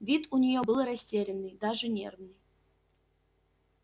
вид у нее был растерянный даже нервный